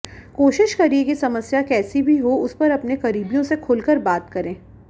कोशिश करिए कि समस्या कैसी भी हो उस पर अपने करीबियों से खुलकर बात करें